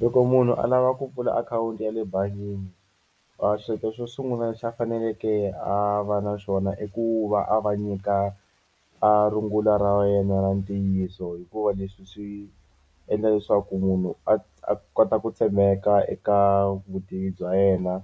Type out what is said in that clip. Loko munhu a lava ku pfula akhawunti ya le bangini a xilo xo sungula lexi a faneleke a va na xona i ku va a va nyika a rungula ra wena ra ntiyiso hikuva leswi swi endla leswaku munhu a a kota ku tshembeka eka vutivi bya yena